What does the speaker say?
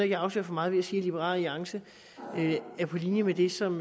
jeg afslører for meget ved at sige at liberal alliance er på linje med det som